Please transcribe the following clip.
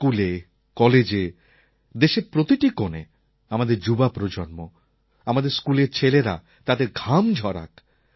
স্কুলে কলেজে দেশের প্রতিটি কোণে আমাদের যুবা প্রজন্ম আমাদের স্কুলের ছেলেরা তাদের ঘাম ঝরাক